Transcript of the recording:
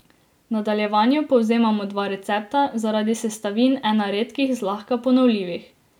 V nadaljevanju povzemamo dva recepta, zaradi sestavin ena redkih zlahka ponovljivih.